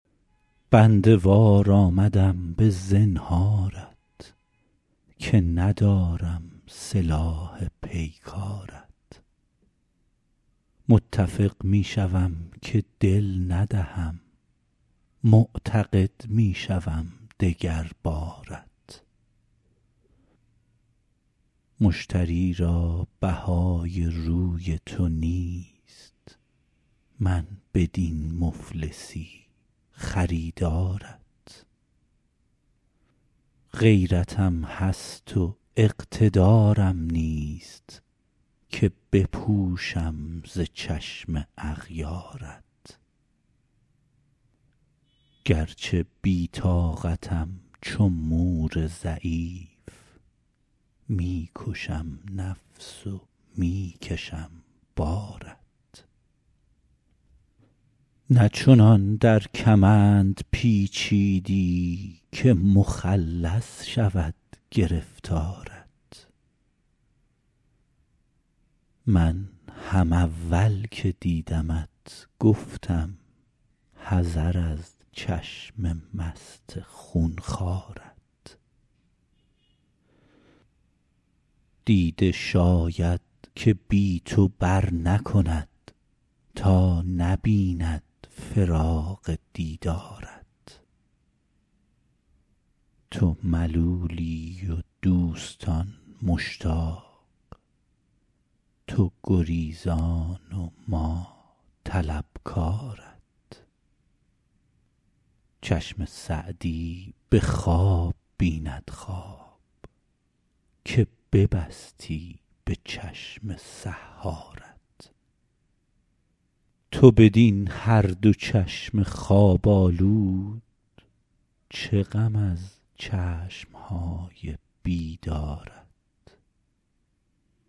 بنده وار آمدم به زنهارت که ندارم سلاح پیکارت متفق می شوم که دل ندهم معتقد می شوم دگر بارت مشتری را بهای روی تو نیست من بدین مفلسی خریدارت غیرتم هست و اقتدارم نیست که بپوشم ز چشم اغیارت گرچه بی طاقتم چو مور ضعیف می کشم نفس و می کشم بارت نه چنان در کمند پیچیدی که مخلص شود گرفتارت من هم اول که دیدمت گفتم حذر از چشم مست خون خوارت دیده شاید که بی تو برنکند تا نبیند فراق دیدارت تو ملولی و دوستان مشتاق تو گریزان و ما طلبکارت چشم سعدی به خواب بیند خواب که ببستی به چشم سحارت تو بدین هر دو چشم خواب آلود چه غم از چشم های بیدارت